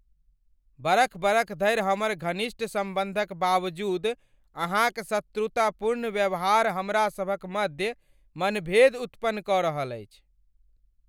बरख बरख धरि हमर घनिष्ठ सम्बन्धक बावजूद अहाँक शत्रुतापूर्ण व्यवहार हमरासभक मध्य मनभेद उत्पन्न कऽ रहल अछि।